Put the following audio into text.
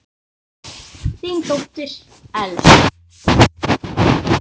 Þín dóttir, Elsa.